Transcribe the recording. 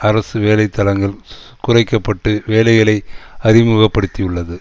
அரசு வேலைத்தலங்கள் குறைக்க பட்டு வேலைகளை அறிமுகப்படுத்தியுள்ளது